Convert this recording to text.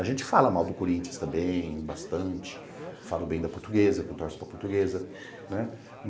A gente fala mal do Corinthians também, bastante, falo bem da Portuguesa, que eu torço para Portuguesa, né?